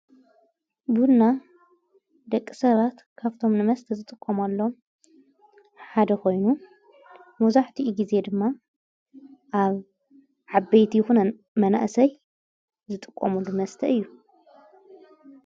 ብህና ደቂሰራት ካፍቶም ንመስተ ዝጥቆም ኣሎ ሓደ ኾይኑ ሞዙሕቲኢ ጊዜ ድማ ኣብ ዓበይቲ ይኹነ መናእሰይ ዝጥቆሙ ንመስተ እዩ።